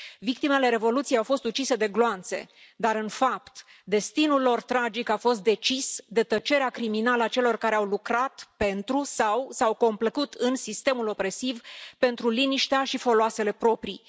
Victimele Revoluției au fost ucise de gloanțe, dar în fapt, destinul lor tragic a fost decis de tăcerea criminală a celor care au lucrat pentru sau s au complăcut în sistemul opresiv pentru liniștea și foloasele proprii.